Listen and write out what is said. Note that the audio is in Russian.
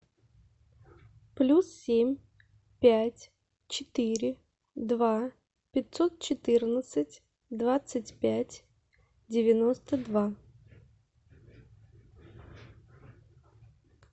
плюс семь пять четыре два пятьсот четырнадцать двадцать пять девяносто два